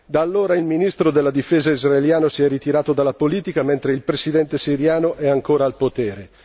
Da allora il ministro della Difesa israeliano si è ritirato dalla politica mentre il presidente siriano è ancora al potere.